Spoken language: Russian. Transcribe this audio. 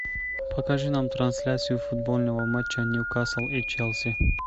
покажи нам трансляцию футбольного матча ньюкасл и челси